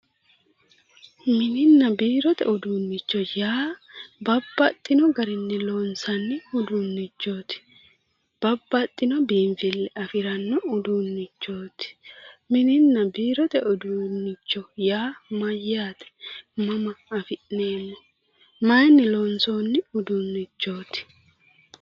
Mininna biirote uduunicho yaa babbaxino loonsanni uduunichoti ,babbaxino uduunicho ,mininna biirote uduunicho yaa mayaate, mama afi'neemmo, mayinni loonsoni uduunichoti ?